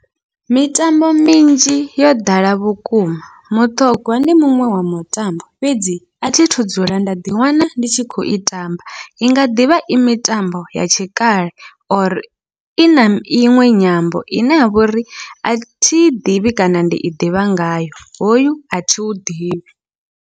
Mitambo minzhi yo ḓala vhukuma muṱhogwa ndi muṅwe wa mutambo, fhedzi athi thu dzula nda ḓiwana ndi tshi khou i tamba inga ḓivha i mitambo ya tshikale or ina iṅwe nyambo ine yavha uri athi i ḓivhi kana ndi i ḓivha ngayo, hoyu athi u ḓivhi.